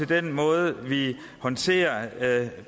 den måde vi håndterer